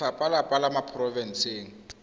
lefapha la dipalangwa la porofense